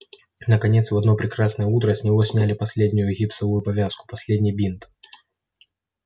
наконец в одно прекрасное утро с него сняли последнюю гипсовую повязку последний бинт